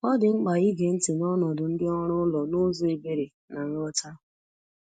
Ọ dị mkpa ige ntị n’ọnọdụ ndị ọrụ ụlọ n’ụzọ ebere na nghọta.